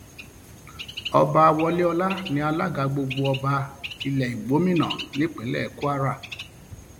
ọba wọléọlá ní alága gbogbo ọba ilẹ igbómìnà nípínlẹ kwara